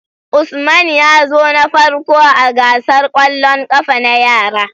Usman yazo na farko ah gasar kwallin kafa na yara